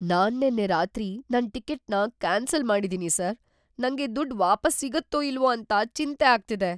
ನಾನ್ ನೆನ್ನೆ ರಾತ್ರಿ ನನ್ ಟಿಕೆಟ್‌ನ ಕ್ಯಾನ್ಸಲ್‌ ಮಾಡಿದೀನಿ ಸರ್. ನಂಗೆ ದುಡ್ಡ್ ವಾಪಸ್‌ ಸಿಗತ್ತೋ ಇಲ್ವೋ ಅಂತ ಚಿಂತೆ ಆಗ್ತಿದೆ.